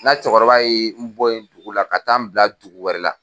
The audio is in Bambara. N ka cɛkɔrɔba ye n bɔ yen ka taa n bila dugu wɛrɛ la.